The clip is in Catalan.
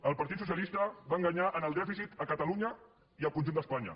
el partit socialista va enganyar en el dèficit a catalunya i al conjunt d’espanya